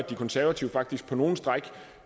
de konservative faktisk på nogle stræk